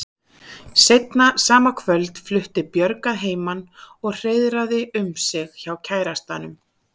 Seinna sama kvöld flutti Björg að heiman og hreiðraði um sig hjá kærastanum.